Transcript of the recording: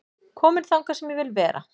Kominn þangað sem ég vil vera